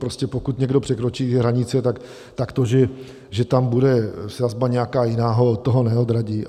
Prostě pokud někdo překročí hranice, tak to, že tam bude sazba nějaká jiná, to ho neodradí.